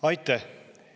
Aitäh!